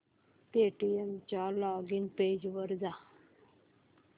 Paytm च्या login page वर जा